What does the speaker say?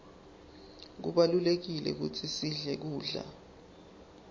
kubalulekile kutsi sidle kudla